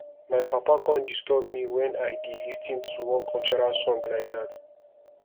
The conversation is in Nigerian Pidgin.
my papa come disturb me wen i dey lis ten to one cultural song like dat